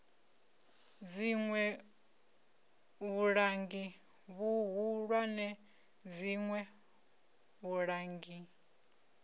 dziṋwe vhulangi vhuhulwane dziṋwe vhulangi